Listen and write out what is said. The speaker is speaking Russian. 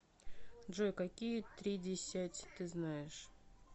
джой какие тридесять ты знаешь